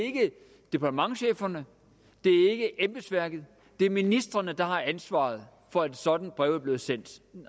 departementscheferne ikke embedsværket det er ministrene der har ansvaret for at et sådant brev er blevet sendt